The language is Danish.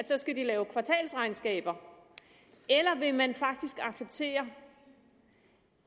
så skal lave kvartalsregnskaber eller vil man faktisk acceptere